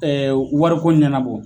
wari ko ɲanabɔ